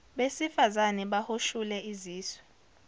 besifazane bahoshule izisu